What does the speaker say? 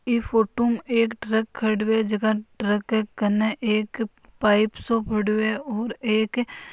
इस फोटो में एक ट्रक खडीयो है ट्रक के एक पायप सो पडीयो हैऔर एक--